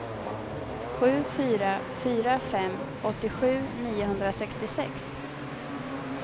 sju fyra fyra fem åttiosju niohundrasextiosex